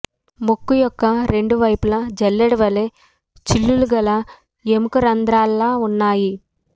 ముక్కు యొక్క రెండు వైపులా జల్లేడవలె చిల్లులుగల ఎముక రంధ్రాల ఉన్నాయి